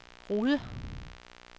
Rude